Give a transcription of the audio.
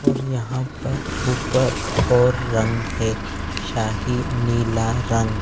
और यहाँ पर ऊपर और रंग हैं शाही नीला रंग--